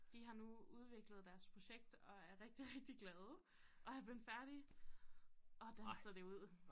De har nu udviklet deres projekt og er rigtig rigtig glade og er bleven færdige og danser det ud